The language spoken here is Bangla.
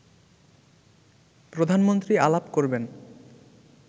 প্রধানমন্ত্রী আলাপ করবেন